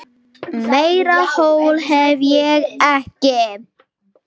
Meira hól hef ég ekki.